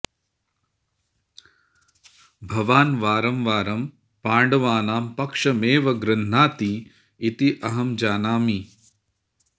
भवान् वारं वारं पाण्डवानां पक्षमेव गृह्णाति इति अहं जानामि